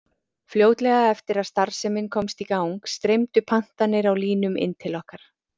Fljótlega eftir að starfsemin komst í gang streymdu pantanir á línum inn til okkar.